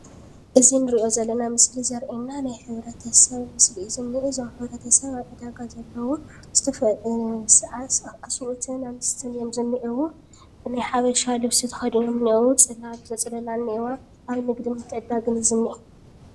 እዚ እንርእዮ ዘለና ምስሊ ዘርእየና ናይ ሕብረተሰብ ምስሊ እዩ ዝኒአ። እዞም ሕብረተሰብ ኣብ ዕዳጋ ዘለውን ዝተፈላለዩ ኣንስትን ኣሰብኡትን እዮም ዝኒአው። ናይ ሓበሻ ልብሲ ተኸዲኖም እኒአ። ው ፅላል ዘፅለላ እውን እኒአዋ ኣብ ንግድን ምትዕድዳግን እዩ ዝንኤ።